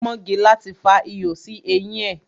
Pọ́ngilá ti fa ihò sí eyín ẹ.